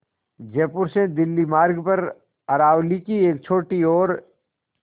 जयपुर से दिल्ली मार्ग पर अरावली की एक छोटी और